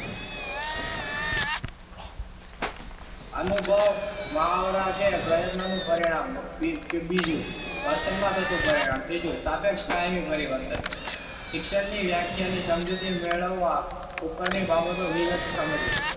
અનુભવ મહાવરા કે પ્રયત્નનું પરિણામ. બીજું વર્તનમાં થતું પરિણામ. ત્રીજું સાપેક્ષ કાયમી પરિવર્તન. શિક્ષણ ની વ્યાખ્યા ની સમજૂતી મેળવવા ઉપરની બાબતો વિગતો સમજો.